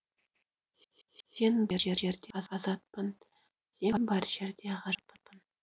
сен бар жерде азатпын сен бар жерде ғажаппын